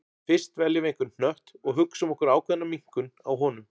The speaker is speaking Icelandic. Fyrst veljum við einhvern hnött og hugsum okkur ákveðna minnkun á honum.